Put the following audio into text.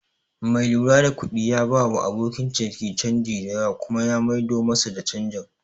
Mai lura da kuɗi ya bawa abokin ciniki canji da yawa kuma ya mai do masa da canjin